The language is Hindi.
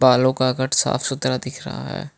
बालों का कट साफ सुथरा दिख रहा है।